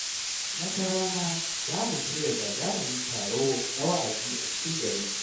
Wata rana, za mu shirya gagarumin taro na wa’azi a cikin garinmu.